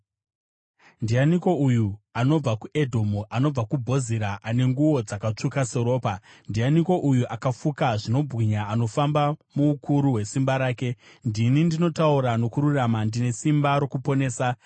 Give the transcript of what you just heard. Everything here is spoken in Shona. Ndianiko uyu anobva kuEdhomu, anobva kuBhozira, ane nguo dzakatsvuka seropa? Ndianiko uyu, akafuka zvinobwinya, anofamba muukuru hwesimba rake? “Ndini ndinotaura nokururama, ndine simba rokuponesa.”